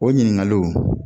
O ɲininkaliw